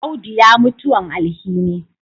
Audu ya mutuwan alhini